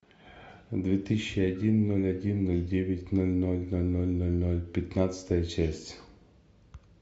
две тысячи один ноль один ноль девять ноль ноль ноль ноль ноль ноль пятнадцатая часть